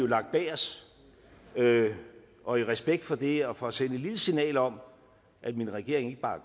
lagt bag os og i respekt for det og for at sende et lille signal om at min regering ikke bare